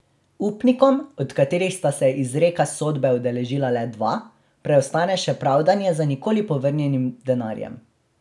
Upnikom, od katerih sta se izreka sodbe udeležila le dva, preostane še pravdanje za nikoli povrnjenim denarjem.